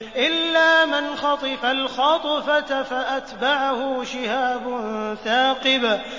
إِلَّا مَنْ خَطِفَ الْخَطْفَةَ فَأَتْبَعَهُ شِهَابٌ ثَاقِبٌ